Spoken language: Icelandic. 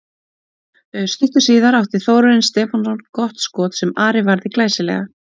Stuttu síðar átti Þórarinn Stefánsson gott skot sem Ari varði glæsilega.